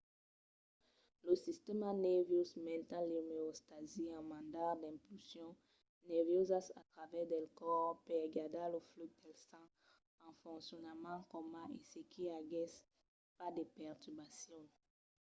lo sistèma nerviós manten l'omeostasi en mandar d'impulsions nerviosas a travèrs del còs per gardar lo flux del sang en foncionament coma se i aguèsse pas de perturbacions